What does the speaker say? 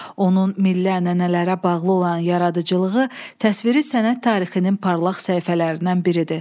Onun milli ənənələrə bağlı olan yaradıcılığı təsviri sənət tarixinin parlaq səhifələrindən biridir.